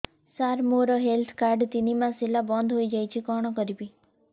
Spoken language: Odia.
ସାର ମୋର ହେଲ୍ଥ କାର୍ଡ ତିନି ମାସ ହେଲା ବନ୍ଦ ହେଇଯାଇଛି କଣ କରିବି